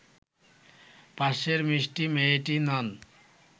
পাশের মিষ্টি মেয়েটি নন